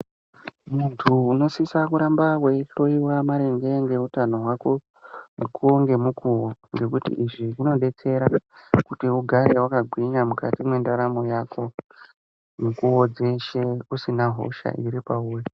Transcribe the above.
Muntu unosisa kuramba weihloiwa maringe ngeutano hwako , mukuwo ngemukuwo, ngekuti izvi zvinodetsera ,kuti ugare wakagwinya mukati mwendaramo yako, mukuwo dzeshe usina hosha iri pauri.